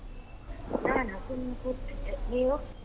ನಾನಾ ಸುಮ್ನೆ ಕೂತಿದ್ದೆ ನೀವು?